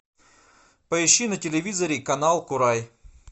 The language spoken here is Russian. поищи на телевизоре канал курай